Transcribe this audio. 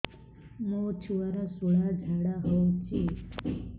ମୋ ଛୁଆର ସୁଳା ଝାଡ଼ା ହଉଚି